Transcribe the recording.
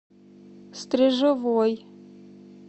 стрежевой